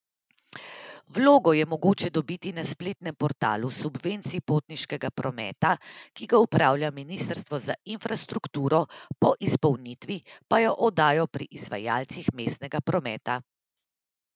Vlogo je mogoče dobiti na spletnem portalu subvencij potniškega prometa, ki ga upravlja ministrstvo za infrastrukturo, po izpolnitvi pa jo oddajo pri izvajalcih mestnega prometa.